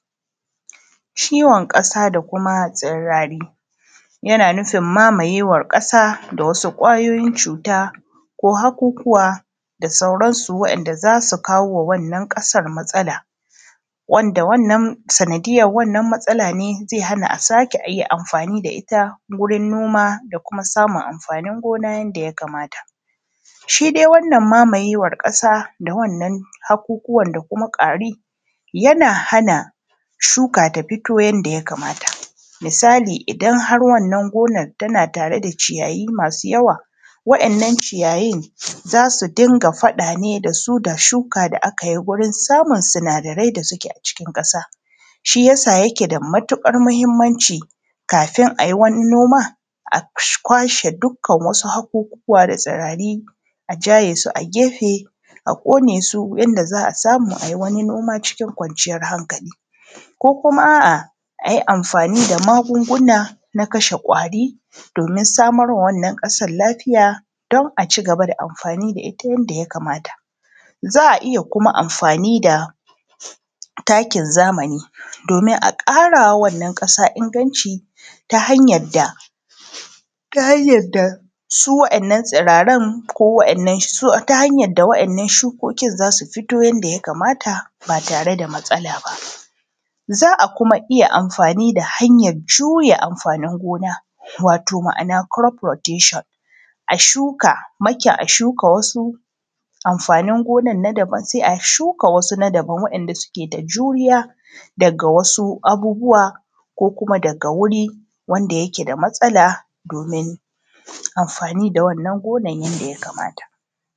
Ciwon ƙasaˋ da kumaˋ tsirariˋ, yanaˋ nufin mamayewan ƙasaˋ da wasuˋ kwayoyin cutuˋ ko hakukuwaˋ da sauransuˋ wandaˋ za su kawowaˋ wannan ƙasan matsalaˋ, wandaˋ wannan sanadiyar wannan matsalaˋ ne zai hanaˋ a sakeˋ iya amfaniˋ da ita gurin nomaˋ da kumaˋ samun amfanin gonaˋ yandaˋ ya kamataˋ. Shi dai wannan mamayewan ƙasaˋ da wannan hakukuwan da kumaˋ kwariˋ yanaˋ hanaˋ shukaˋ ta fitoˋ yandaˋ ya kamataˋ. Misaliˋ idan har wannan gonar tanaˋ tareˋ da ciyayiˋ masuˋ yawaˋ wa’innan ciyayin za suˋ dingaˋ faɗaˋ ne dasuˋ da shukaˋ da akayiˋ wajen samun sinadarai daˋ sukeˋ a cikin kasaˋ, shi yasaˋ yakeˋ da matuƙar mahimmanciˋ kafin ayi waniˋ nomaˋ a kwashe dukkan wasuˋ hakukuwaˋ da tsirariˋ ajaye su a gefeˋ a koneˋ su yandaˋ za a samuˋ ayi waniˋ nomaˋ cikin kwanciyar hankaliˋ. Ko kumaˋ a’a ayi amfaniˋ da magungunaˋ na kashe kwariˋ domin samarma wannan kasan lafiyaˋ don aci gabaˋ da amfaniˋ da ita yandaˋ ya kamataˋ. Za a iya kumaˋ amfaniˋ da takin zamaniˋ domin a ƙarawaˋ wannan ƙasan inganciˋ ta hanyar da, ta hanyar da su wa’innan tsirarun ko wa’inna shukokin za su fitoˋ ta yaddaˋ ya kamataˋ ba tareˋ da matsalaˋ ba. Za a kumaˋ iya amfaniˋ da hanyar juyaˋ amfaniˋ gonaˋ, watoˋ ma’ana kolot froteshen ashuka mikiˋ, a shukaˋ wasuˋ amfanin gonan na dabam sai a shukaˋ wasuˋ na dabam wadandaˋ sukeˋ da juriyaˋ dagaˋ wasuˋ abubuwaˋ ko kumaˋ dagaˋ guriˋ wandaˋ yikeˋ da matsalaˋ domin amfaniˋ da wannan gonan yanda ya kamataˋ.